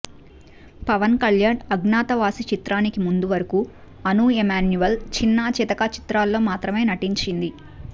పవన్ కళ్యాణ్ అజ్ఞాతవాసి చిత్రానికి ముందు వరకు అను ఎమాన్యూల్ చిన్నా చితక చిత్రాల్లో మాత్రమే నటించింది